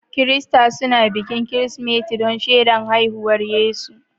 Kirista snubuin bikin Kirismeti dan shedan haihuwar Yesu.